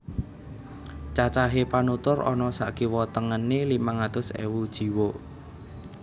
Cacahé panutur ana sakiwa tengené limang atus ewu jiwa